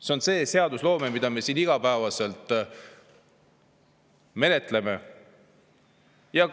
See on see seadusloome, mida me siin igapäevaselt.